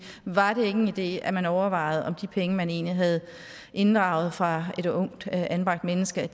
var det ikke en idé at man overvejede om de penge man egentlig havde inddraget fra et ungt anbragt menneske